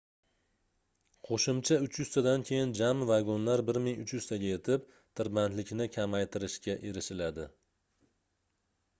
qoʻshimcha 300 tadan keyin jami vagonlar 1300 taga yetib tirbandlikni kamaytiririshga erishiladi